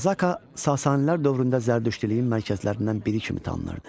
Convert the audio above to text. Qazaka Sasanilər dövründə zərdüştlüyün mərkəzlərindən biri kimi tanınırdı.